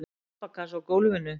og þessi pappakassi á gólfinu?